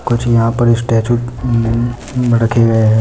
कुछ यहां पर स्टैचू हम्म रखे गए हैं।